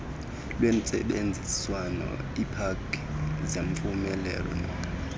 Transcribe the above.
lwentsebenziswano iipaki zemvumelwano